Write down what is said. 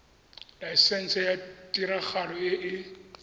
laesense ya tiragalo e e